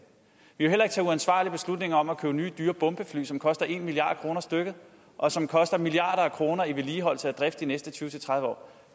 vi ville heller ikke tage uansvarlige beslutninger om at købe nye dyre bombefly som koster en milliard kroner stykket og som koster milliarder af kroner i vedligeholdelse og drift de næste tyve til tredive år